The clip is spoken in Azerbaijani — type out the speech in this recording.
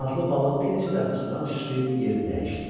Qanadlı balıq bir neçə dəfə sudan sıçrayıb yerini dəyişdi.